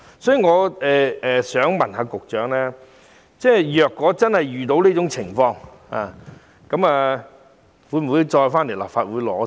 所以，我想問局長如真的遇到這種情況，當局會否再向立法會申請撥款？